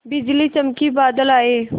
बिजली चमकी बादल आए